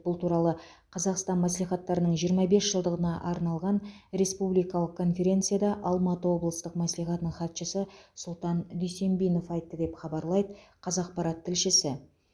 бұл туралы қазақстан мәслихаттарының жиырма бес жылдығына арналған республикалық конференцияда алматы облыстық мәслихатының хатшысы сұлтан дүйсенбинов айтты деп хабарлайды қазақпарат тілшісі